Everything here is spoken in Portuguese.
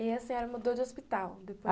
E a senhora mudou de hospital? depois